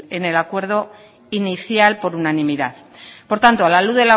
en el acuerdo inicial por unanimidad por tanto a la luz